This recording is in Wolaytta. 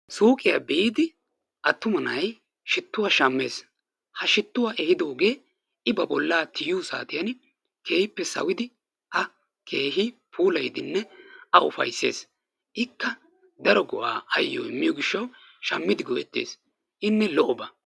Suuqqiya biidi attuma na'ay shittuwa shammes. Ha shittuwa ehiiddogge I ba boollaa tiyiyo saatiyan keehippe sawidi A keehippe puulayidinne A ufayssees ikka daro go'aa ayoo immiyo gishshawu shammidi go'ettees. Inne lo'oba.